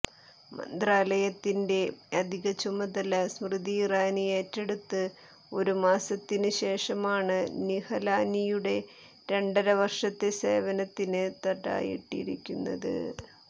മന്ത്രാലയത്തിന്റെ അധിക ചുമതല സ്മൃതി ഇറാനി ഏറ്റെടുത്ത് ഒരു മാസത്തിന് ശേഷമാണ് നിഹലാനിയുടെ രണ്ടര വര്ഷത്തെ സേവനത്തിന് തടയിട്ടിരിക്കുന്നത്